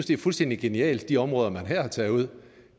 det er fuldstændig genialt med de områder man her har taget ud